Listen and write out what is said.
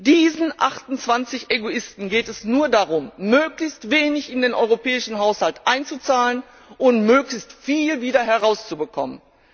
Diesen 28Egoisten geht es nur darum, möglichst wenig in den europäischen Haushalt einzuzahlen und möglichst viel wieder herauszubekommen.